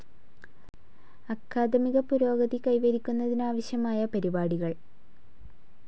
അക്കാദമിക പുരോഗതി കൈവരിക്കുന്നതിനാവശ്യമായ പരിപാടികൾ